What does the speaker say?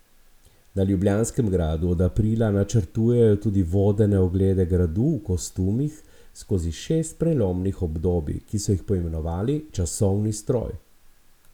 Na Ljubljanskem gradu od aprila načrtujejo tudi vodene oglede gradu v kostumih skozi šest prelomnih obdobij, ki so jih poimenovali Časovni stroj.